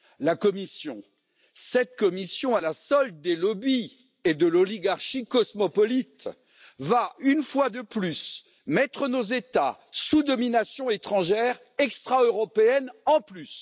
La Commission, cette Commission à la solde des lobbies et de l'oligarchie cosmopolite, va une fois de plus mettre nos États sous domination étrangère, extra européenne en plus!